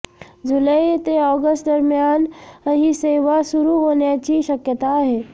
जुलै ते ऑगस्टदरम्यान ही सेवा सुरू होण्याची शक्यता आहे